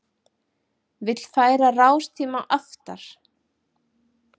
Vill færa rástíma aftar